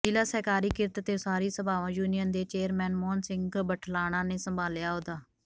ਜ਼ਿਲ੍ਹਾ ਸਹਿਕਾਰੀ ਕਿਰਤ ਤੇ ਉਸਾਰੀ ਸਭਾਵਾਂ ਯੂਨੀਅਨ ਦੇ ਚੇਅਰਮੈਨ ਮੋਹਨ ਸਿੰਘ ਬਠਲਾਣਾ ਨੇ ਸੰਭਾਲਿਆ ਅਹੁਦਾ